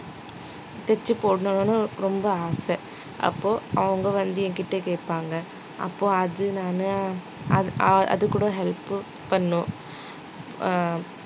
தெச்சு போடணும்னு ரொம்ப ஆசை அப்போ அவங்க வந்து என்கிட்ட கேப்பாங்க அப்போ அது நானு அ~ அதுகூட help உ பண்ணணும் ஆஹ்